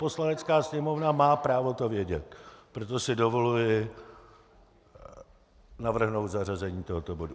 Poslanecká sněmovna má právo to vědět, proto si dovoluji navrhnout zařazení tohoto bodu.